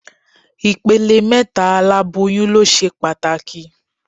Ìpele mẹ́ta oláboyún ló ṣe pàtàkì